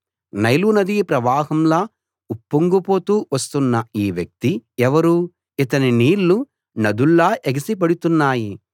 నైలునదీ ప్రవాహంలా ఉప్పొంగుతూ వస్తున్న ఈ వ్యక్తి ఎవరు ఇతని నీళ్ళు నదుల్లా ఎగసి పడుతున్నాయి